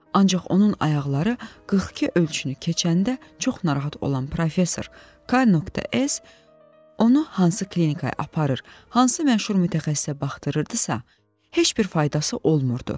Ancaq onun ayaqları 42 ölçünü keçəndə çox narahat olan professor K.S onu hansı klinikaya aparır, hansı məşhur mütəxəssisə baxdırırdısa, heç bir faydası olmurdu.